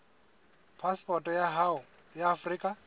phasepoto ya hao ya afrika